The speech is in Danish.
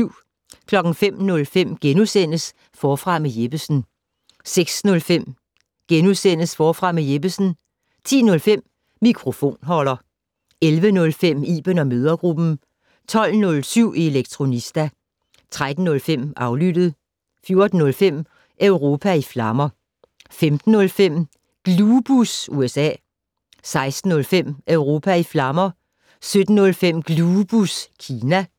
05:05: Forfra med Jeppesen * 06:05: Forfra med Jeppesen * 10:05: Mikrofonholder 11:05: Iben & mødregruppen 12:07: Elektronista 13:05: Aflyttet 14:05: Europa i flammer 15:05: Glubus USA 16:05: Europa i flammer 17:05: Glubus Kina